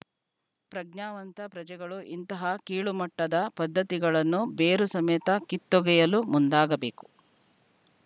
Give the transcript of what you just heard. ಪ್ರಜ್ಞಾವಂತ ಪ್ರಜೆಗಳು ಇಂತಹ ಕೀಳುಮಟ್ಟದ ಪದ್ದತಿಗಳನ್ನು ಬೇರು ಸಮೇತ ಕಿತ್ತೋಗೆಯಲು ಮುಂದಾಗಬೇಕು